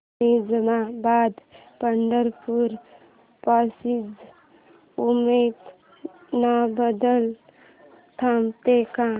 Nizamabad Pandharpur passenger Osmanabad ला थांबते का